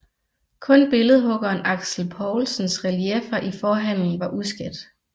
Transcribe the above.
Kun billedhuggeren Axel Poulsens relieffer i forhallen var uskadt